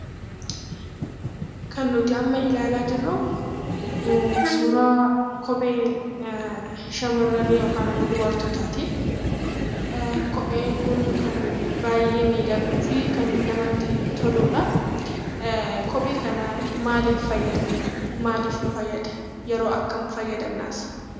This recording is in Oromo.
Kan nuti amma ilaalaa jirru suuraa kophee shamarranii yookaan immoo dubartootaa ti. Kopheen kun kan baay'ee miidhaguu fi kan namatti toludha. Kophee kana maaliif fayyadamna? Maaliif nu fayyada? Yeroo akkamii fayyadamnas?